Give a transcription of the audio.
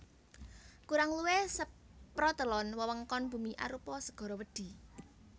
Kurang luwih saprotelon wewengkon bumi arupa segara wedhi